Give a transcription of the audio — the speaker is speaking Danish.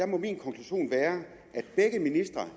må min konklusion være at begge ministre